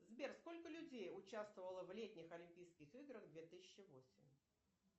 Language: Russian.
сбер сколько людей участвовало в летних олимпийских играх две тысячи восемь